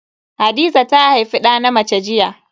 Hadiza ta haifi da na mace jiya.